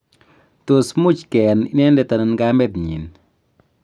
tos much keyan inendet anan kamet nyin?